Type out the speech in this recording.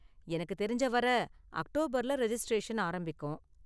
எனக்கு தெரிஞ்ச வரை அக்டோபர்ல ரெஜிஸ்ட்ரேஷன் ஆரம்பிக்கும்.